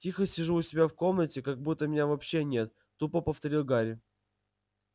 тихо сижу у себя в комнате как будто меня вообще нет тупо повторил гарри